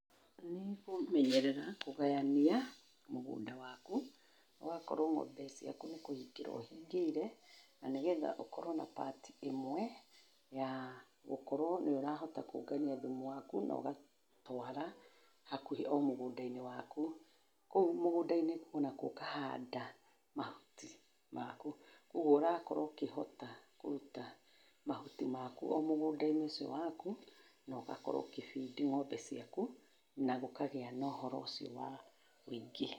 Nĩkũmenyerera, kũgayania, mũgũnda waku, ũgakorũo ng'ombe ciaku nĩkũhingĩro ũhingĩire, na nĩgetha ũkorũo na part imwe, ya, gũkorũo nĩũrahota kũngania thumu waku na ũgatũara hakuhi o mũgũndainĩ waku, kũu mũgũndainĩ onakuo ũkahanda mahuti maku, kuoguo ũrakorũo ũkĩhota kũruta mahuti maku o mũgũndainĩ ũcio waku, na ũgakorũo ũgĩbidi ng'ombe ciaku, na gũgakorũo na ũhoro ũcio wa wingĩ.